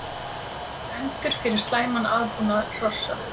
Dæmdur fyrir slæman aðbúnað hrossa